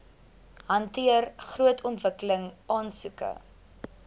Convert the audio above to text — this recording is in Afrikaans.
hanteer grondontwikkeling aansoeke